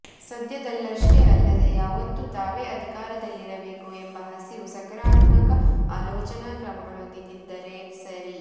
ಸದ್ಯದಲ್ಲಷ್ಟೇ ಅಲ್ಲದೇ ಯಾವತ್ತೂ ತಾವೇ ಅಧಿಕಾರದಲ್ಲಿರಬೇಕು ಎಂಬ ಹಸಿವು ಸಕಾರಾತ್ಮಕ ಆಲೋಚನಾಕ್ರಮಗಳೊಂದಿಗಿದ್ದರೆ ಸರಿ